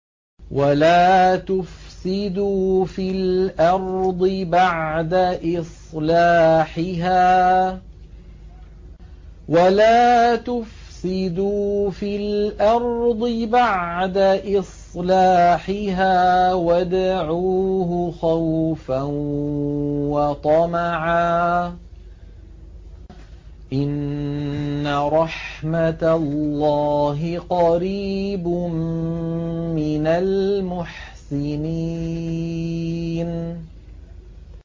وَلَا تُفْسِدُوا فِي الْأَرْضِ بَعْدَ إِصْلَاحِهَا وَادْعُوهُ خَوْفًا وَطَمَعًا ۚ إِنَّ رَحْمَتَ اللَّهِ قَرِيبٌ مِّنَ الْمُحْسِنِينَ